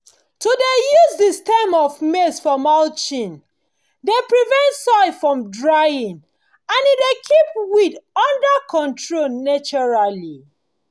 to dey use the stem of maize for mulching dey prevent soil from drying and e dey keep weed under control naturally